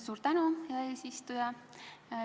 Suur tänu, hea eesistuja!